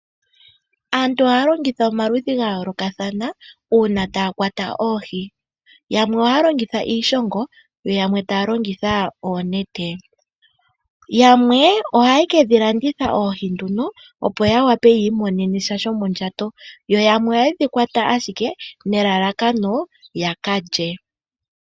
Aantu ohaya longitha omikalo dha yoolokathana uuna taya kwata oohi yamwe ohaya longitha iishongo yo yamwe taya longitha oonete yamwe ohaye kedhi landitha oohi opo ya wape yiimonenesha shomondjato yo yamwe ohaye dhi kwata ashike nelalakano yaka lye.